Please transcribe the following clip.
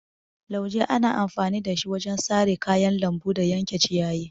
Lauje ana amfani da shi wajen sare kayan lambu da yanke ciyayi.